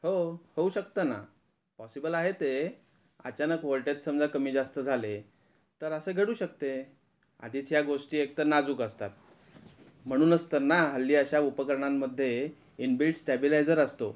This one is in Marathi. हो होऊ शकत ना पॉसिबल आहे ते अचानक वोल्टेज समजा कमी जास्त झाले तर असे घडू शकते आधीच ह्या गोष्टी एक तर नाजूक असतात म्हणूनच तर ना हल्ली अश्या उपकरणान मध्ये इनबिल्ड स्टॅबिलायझर असतो